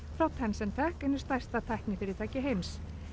frá Tencentech einu stærsta tæknifyrirtæki heims